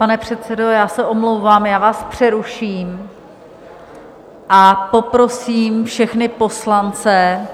Pane předsedo, já se omlouvám, já vás přeruším a poprosím všechny poslance